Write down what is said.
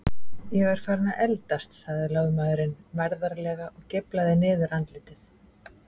Ég er farinn að eldast, sagði lögmaðurinn mærðarlega og geiflaði niðurandlitið.